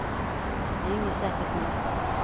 Det är ju inget särskilt med det.